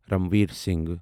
Ranveer Singh